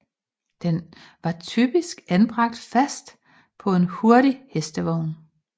Den var typisk anbragt fast på en hurtig hestevogn